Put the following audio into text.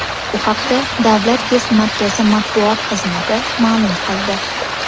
Bu haqda Davlat test markazi matbuot xizmati ma’lum qildi .